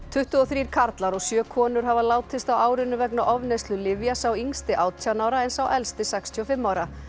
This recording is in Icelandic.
tuttugu og þrír karlar og sjö konur hafa látist á árinu vegna ofneyslu lyfja sá yngsti átján ára en sá elsti sextíu og fimm ára